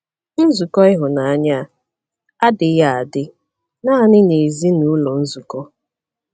Nzukọ ịhụnanya a adịghị adị naanị n’ezinụlọ nzukọ.